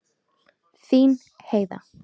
Þín Heiða.